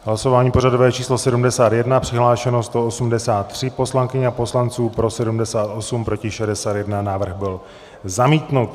Hlasování pořadové číslo 71, přihlášeno 183 poslankyň a poslanců, pro 78, proti 61, návrh byl zamítnut.